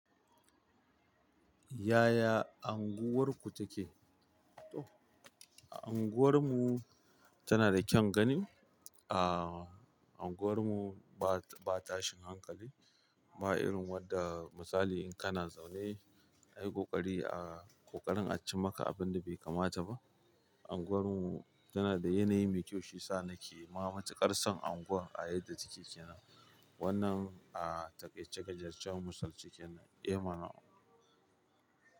Yaya unguwarku take? Unguwar mu tana da kyaun gani. A anguwar mu ba, ba tashin hankali, ba irin wadda misali in kana zaune a yi ƙoƙari ah ƙoƙarin a ci maka abinda bai kamata ba. Anguwar mu tana da yanayi mai kyau shiyasa nake ma matuƙar son anguwar a yadda take kenan. Wannan ahh taƙaice-taƙaicen misalce kenan, eh mana.